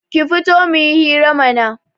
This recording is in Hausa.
Ki fito muyi hira mana